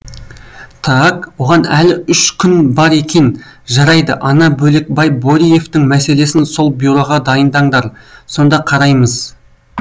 тааак оған әлі үш күн бар екен жарайды ана бөлекбай бөриевтің мәселесін сол бюроға дайындаңдар сонда қараймыз